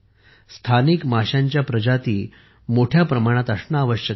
स्थानिक माशांच्या प्रजाती मोठ्या प्रमाणात असणे आवश्यक आहे